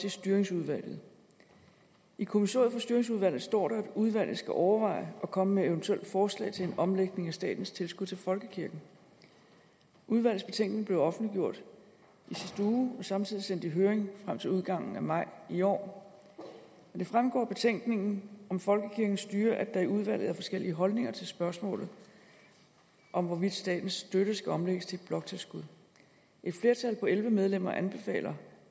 i styringsudvalget i kommissoriet for styringsudvalget står der at udvalget skal overveje at komme med eventuelle forslag til en omlægning af statens tilskud til folkekirken udvalgets betænkning blev offentliggjort i sidste uge og samtidig sendt i høring frem til udgangen af maj i år og det fremgår af betænkningen om folkekirkens styre at der i udvalget er forskellige holdninger til spørgsmålet om hvorvidt statens støtte skal omlægges til et bloktilskud et flertal på elleve medlemmer anbefaler